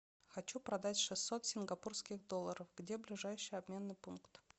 хочу продать шестьсот сингапурских долларов где ближайший обменный пункт